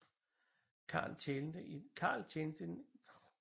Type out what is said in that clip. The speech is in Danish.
Carl tjente i den hollandske flåde